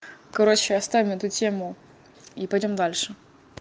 короче оставим эту тему и пойдём дальше